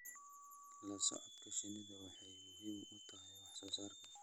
La socodka shinnidu waxay muhiim u tahay wax soo saarka.